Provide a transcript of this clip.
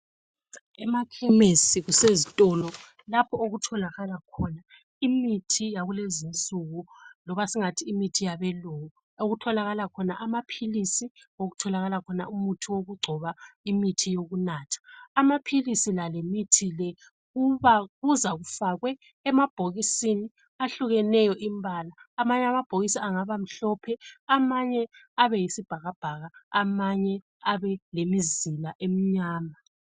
Emakhemisi kusezitolo lapho okutholakala khona imithi yakulezi nsuku, loba singathi imithi yabelungu. Okutholakala khona amaphilisi, okutholakala khona umithi wokugcoba , imithi yokunatha. Amaphilisi la lemithi le kuza kufakwe emabhokisini ahlukeneyo imbala. Amanye amabhokisi angabamhlophe ,amanye abe yisibhakabhaka, amanye abe lemizila emnyama.